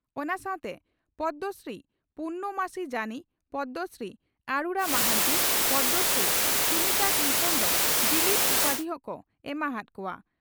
ᱚᱱᱟ ᱥᱟᱣᱛᱮ ᱯᱚᱫᱽᱢᱚᱥᱨᱤ ᱯᱩᱨᱱᱚᱢᱟᱥᱤ ᱡᱟᱱᱤ, ᱯᱚᱫᱽᱢᱚᱥᱨᱤ ᱟᱨᱩᱬᱟ ᱢᱟᱦᱟᱱᱛᱤ, ᱯᱚᱫᱽᱢᱚᱥᱨᱤ ᱥᱩᱱᱤᱛᱟ ᱠᱨᱤᱥᱚᱱ ᱫᱚ ᱰᱤᱞᱤᱴ ᱩᱯᱟᱫᱷᱤ ᱦᱚᱸᱠᱚ ᱮᱢᱟ ᱦᱟᱫ ᱠᱚᱣᱟ ᱾